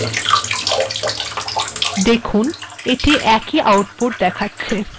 দেখুন এটি একই উত্তর দেখাচ্ছে